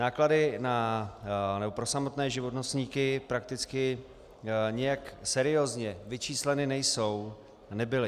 Náklady pro samotné živnostníky prakticky nijak seriózně vyčísleny nejsou a nebyly.